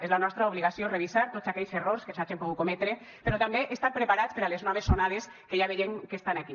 és la nostra obligació revisar tots aquells errors que s’hagin pogut cometre però també estar preparats per a les noves onades que ja veiem que estan aquí